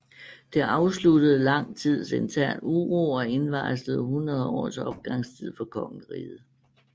Det afsluttede lang tids intern uro og indvarslede 100 års opgangstid for kongeriget